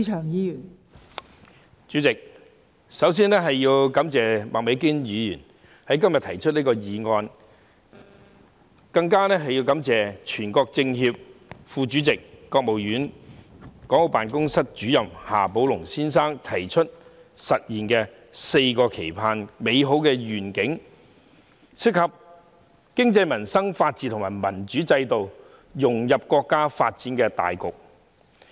代理主席，首先我要感謝麥美娟議員今天提出這項議案，更要感謝全國政協副主席、國務院港澳事務辦公室主任夏寶龍先生提出實現"四個期盼"的美好願景，當中涉及經濟民生、法治和民主制度，以及融入國家發展大局。